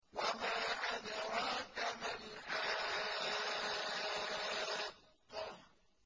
وَمَا أَدْرَاكَ مَا الْحَاقَّةُ